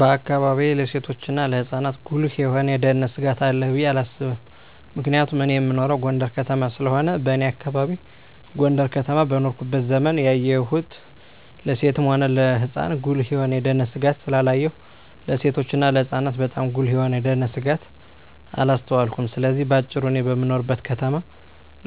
በአካባቢየ ለሴቶችና ለህጻናት ጉልህ የሆነ የደህንነት ስጋት አለ ብየ አላስብም ምክንያቱም እኔ እምኖረው ጎንደር ከተማ ስለሆነ በኔ አካባቢ ጎንደር ከተማ በኖርኩበት ዘመን ያየሁን ለሴትም ሆነ ለህጻን ጉልህ የሆነ የደህንነት ስጋት ስላላየሁ ለሴቶችና ለህጻናት ባጣም ጉልህ የሆነ የደንነት ስጋት አላስተዋልኩም ስለዚህ በአጭሩ እኔ በምኖርበት ከተማ